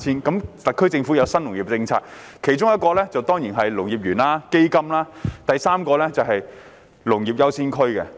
特區政府有新農業政策，除發展農業園和成立基金外，第三項政策便是發展農業優先區。